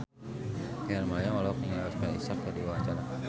Rachel Maryam olohok ningali Oscar Isaac keur diwawancara